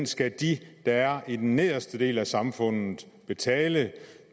skal de der er i den nederste del af samfundet betale